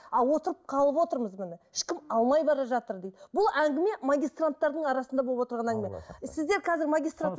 а отырып қалып отырмыз міне ешкім алмай бара жатыр дейді бұл әңгіме магистранттардың арасында болып отырған әңгіме сіздер қазір